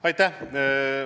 Aitäh!